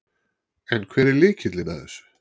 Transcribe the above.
En hver er lykillinn að þessu?